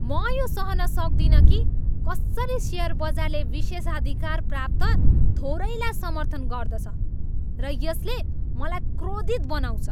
म यो सहन सक्दिनँ कि कसरी सेयर बजारले विशेषाधिकार प्राप्त थोरैलाई समर्थन गर्दछ र यसले मलाई क्रोधित बनाउँछ।